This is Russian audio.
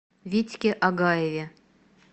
витьке агаеве